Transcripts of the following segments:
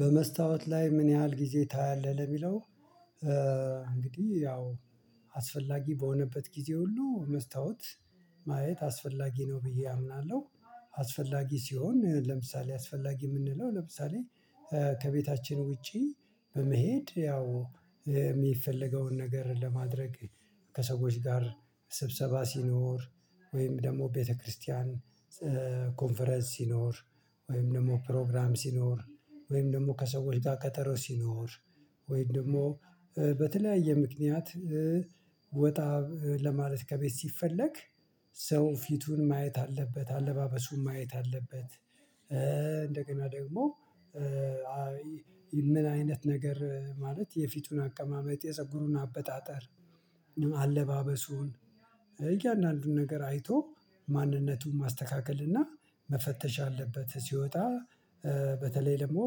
በመስታወት ላይ ምን ያህል ጊዜ ታያለህ ለሚለው? እንግዲህ ያው አስፈላጊ በሆነበት ጊዜ ሁሉ መስታወት ማየት አስፈላጊ ነው ብዬ አምናለሁ። አስፈላጊ ሲሆን ለምሳሌ አስፈላጊ የምንለው ለምሳሌ። ከቤታችን ውጪ በመሄድ ያው የሚፈለገውን ነገር ለማድረግ ከሰዎች ጋር ስብሰባ ሲኖር ወይም ደግሞ ቤተክርስቲያን ኮንፈረንስ ሲኖር ወይም ደግሞ ፕሮግራም ሲኖር ወይም ደግሞ ከሰውዎች ጋር ከቀጠሮ ሲኖር ወይም ደግሞ በተለያየ ምክንያት ወጣ ለማለት ከቤት ሲፈለግ ሰው ፊቱን ማየት አለበት አለባበሱን ማየት አለበት። እንደገና ደግሞ ምን አይነት ነገር ማለት የፊቱን አቀማመጥ የፀጉሩን አበጣጠር አለባበሱን እያንዳንዱን ነገር አይቶ ማንነቱን ማስተካከል እና መፈተሽ አለበት። ሲወጣ በተለይ ደግሞ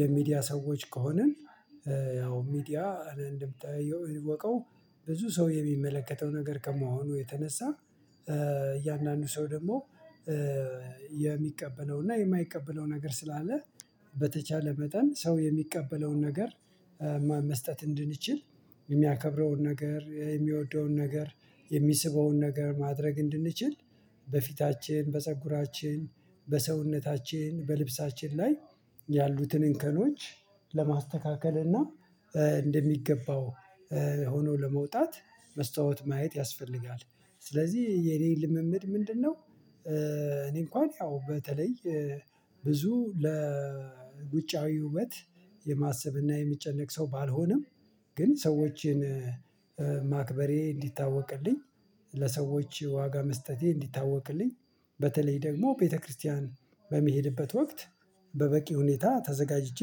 የሚዲያ ሰዎች ከሆንን ያው ሚዲያ እንደሚታወቀው ብዙ ሰው የሚመለከተው ነገር ከመሆኑ የተነሳ እያንዳንዱ ሰው ደግሞ የሚቀበለው እና የማይቀበለው ነገር ስላለ። በተቻለ መጠን ሰው የሚቀበለውን ነገር መስጠት እንድንችል የሚያከብረውን ነገር የሚወደውን ነገር የሚስበውን ነገር ማድረግ እንድንችል በፊታችን በፀጉራችን በሰውነታችን በልብሳችን ላይ ያሉትን እንከኖች ለማስተካከል እና እንደሚገባው ሆኖ ለመውጣት መስታወት ማየት ያስፈልጋል። ስለዚህ የኔ ልምምድ ምንድነው? እኔ እንኳን ያው በተለይ ብዙ ለውጫዊ ውበት የማሰብና የሚጨነቅ ሰው ባልሆነም ግን ሰዎችን ማክበሬ እንዲታወቅልኝ ለሰዎች ዋጋ መስጠቴ እንዲታወቅልኝ በተለይ ደግሞ ቤተክርስቲያን በሚሄድበት ወቅት በበቂ ሁኔታ ተዘጋጅቼ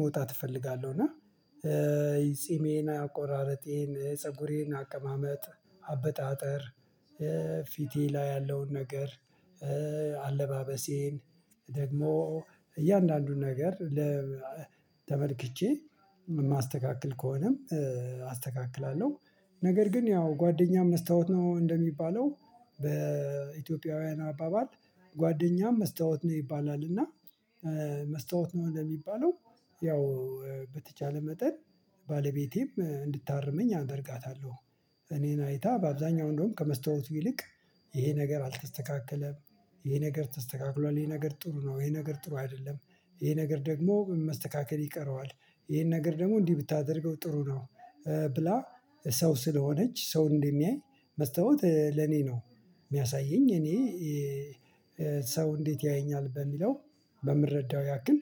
መውጣት እፈልጋለሁ። እና ጺሜና አቆራረጤን ፀጉሬን አቀማመጥ አበጣጠር ፊቴ ላይ ያለውን ነገር አለባበሴን ደግሞ እያንዳንዱን ነገር ለተመልክቼ የማስተካክል ከሆነም አስተካክላለሁ። ነገር ግን ያው ጓደኛም መስታወት ነው እንደሚባለው በኢትዮጵያውያን አባባል ጓደኛም መስታወት ነው ይባላል። እና መስታወት ነው እንደሚባለው ያው በተቻለ መጠን ባለቤቴም እንድታርመኝ አደርጋታለሁ እኔን አይታ በአብዛኛው እንደውም ከመስታወቱ ይልቅ ይሄ ነገር አልተስተካከለም ይሄ ነገር ተስተካክሏል ይሄ ነገር ጥሩ ነው ይሄ ነገር ጥሩ አይደለም ይሄ ነገር ደግሞ መስተካከል ይቀረዋል ይሄን ነገር ደግሞ እንዲህ ብታደርገው ጥሩ ነው። ብላ ሰው ስለሆነች ሰው እንደሚያይ መስታወት ለኔ ነው። የሚያሳየኝ እኔ ሰው እንዴት ያየኛል በሚለው በምረዳው ያክል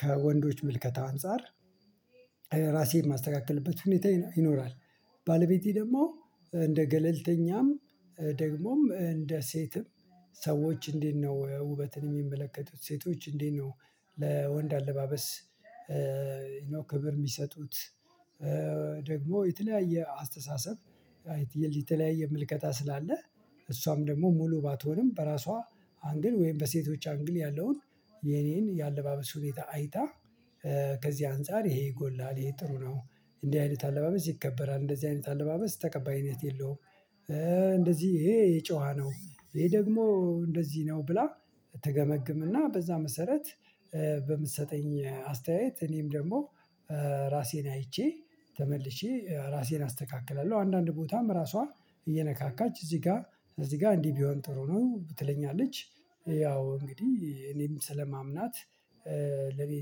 ከወንዶች ምልከታ አንፃር ራሴን የማስተካክልበት ሁኔታ ይኖራል። ባለቤቴ ደግሞ እንደ ገለልተኛም ደግሞም እንደ ሴትም ሰዎች እንዴት ነው ውበትን የሚመለከቱት ሴቶች እንዴት ነው? ለወንድ አለባበስ ክብር የሚሰጡት? ደግሞ የተለያየ አስተሳሰብ የተለያየ ምልከታ ስላለ። እሷም ደግሞ ሙሉ ባትሆንም በራሷ አንግል ወይም በሴቶች አንግል ያለውን የኔን የአለባበስ ሁኔታ አይታ ከዚህ አንፃር ይሄ ይጎላል ይሄ ጥሩ ነው እንዲህ አይነት አለባበስ ይከበራል እንደዚህ አይነት አለባበስ ተቀባይነት የለውም። እንደዚህ ይሄ የጨዋ ነው ይሄ ደግሞ እንደዚህ ነው ብላ ትገመግምና በዛ መሰረት በምትሰጠኝ አስተያየት እኔም ደግሞ ራሴን አይቼ ተመልሼ ራሴን አስተካክላለሁ። አንዳንድ ቦታም ራሷ እየነካካች እዚህ ጋር እዚህ ጋር እንዲህ ቢሆን ጥሩ ነው ትለኛለች። ያው እንግዲህ እኔም ስለማምናት ለእኔ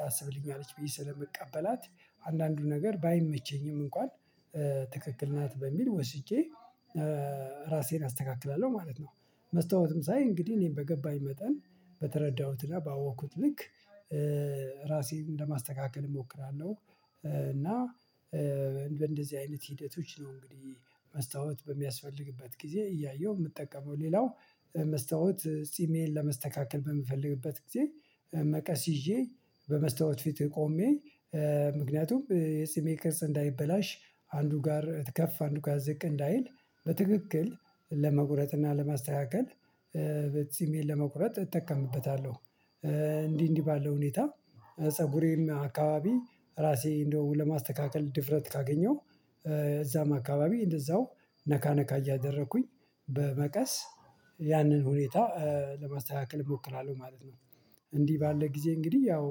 ታስብልኛለች በይ ስለምቀበላት አንዳንዱ ነገር ባይመቸኝም እንኳን ትክክል ናት በሚል ወስጄ ራሴን አስተካክላለሁ ማለት ነው። መስታወትም ሳይ እንግዲህ እኔን በገባኝ መጠን በተረዳሁትና ጋር ባወቅኩት ልክ ራሴን ለማስተካከል እሞክራለሁ። እና በእንደዚህ አይነት ሂደቶች ነው እንግዲህ መስታወት በሚያስፈልግበት ጊዜ እያየሁ የምጠቀመው ሌላው መስተዋት ጺሜን ለመስተካከል በምፈልግበት ጊዜ መቀስ ይዤ በመስተዋት ፊት ቆሜ ምክንያቱም የፂሜ ቅርጽ እንዳይበላሽ አንዱ ጋር ከፍ አንዱ ጋር ዝቅ እንዳይል በትክክል ለመቁረጥ እና ለማስተካከል በዚህ ጺሜን ለመቁረጥ እጠቀምበታለሁ። እንዲህ እንዲህ ባለው ሁኔታ ፀጉሬም አካባቢ ራሴ እንደውም ለማስተካከል ድፍረት ካገኘሁ እዛም አካባቢ እንደዛው ነካ ነካ እያደረኩኝ በመቀስ ያንን ሁኔታ ለማስተካከል እሞክራለሁ ማለት ነው። እንዲህ ባለ ጊዜ እንግዲህ ያው